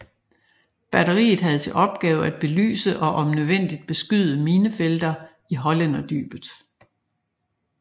Batteriet have til opgave at belyse og om nødvendigt beskyde minefelter i Hollænderdybet